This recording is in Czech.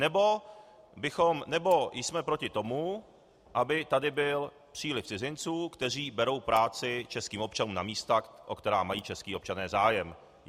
Nebo jsme proti tomu, aby tady byl příliv cizinců, kteří berou práci českým občanům na místech, o která mají čeští občané zájem.